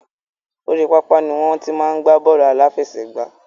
Orí pápá ni wọn ti máa ń gba bọ́ọ́lù alafẹsẹ̀gbà